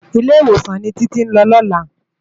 Ilé-Iwósán ni Titi n lò lòlá